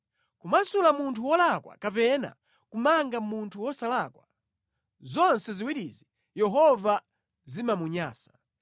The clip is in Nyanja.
Kumasula munthu wolakwa kapena kumanga munthu wosalakwa, zonse ziwirizi Yehova zimamunyansa.